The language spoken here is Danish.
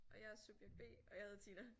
Og jeg er subjekt B og jeg hedder Tina